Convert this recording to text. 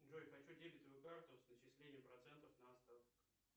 джой хочу дебетовую карту с начислением процентов на остаток